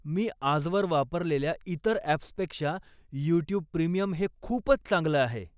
मी आजवर वापरलेल्या इतर अॅप्सपेक्षा यूट्यूब प्रीमियम हे खूपच चांगलं आहे.